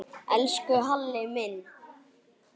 Elsku Halli minn.